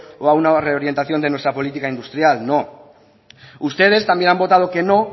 o a una reorientación de nuestra política industrial no ustedes también han votado que no